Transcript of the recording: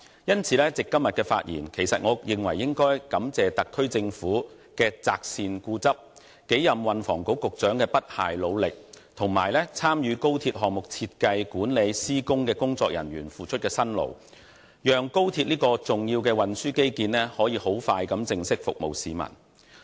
因此，藉着今天的發言，我認為應該感謝特區政府的擇善固執、數任運輸及房屋局局長的不懈努力，以及參與高鐵項目設計、管理和施工的工作人員所付出的辛勞，讓高鐵這項重要的運輸基建快將可以正式服務市民。